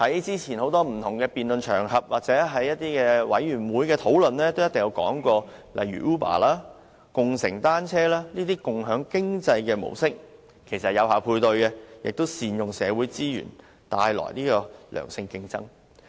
早前在多個不同辯論場合或小組委員會會議上均討論到，例如 Uber 及共乘單車這類共享經濟的模式，其實能有效配對，亦能善用社會資源，帶來良性競爭。